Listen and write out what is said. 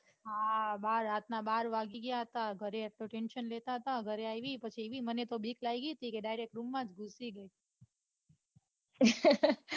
હા બાર રાતના બાર વાગી ગયા હતા ઘરે એક તો tension લેતા હતા ઘરે આઈવી પછી એવી મને તો બીક લાગી તી કે direct રૂમ માં જ ગૂસી ગઈ.